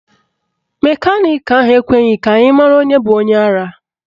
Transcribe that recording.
Mekaniki ahụ ekweghị ka anyị mara onye bụ onye ara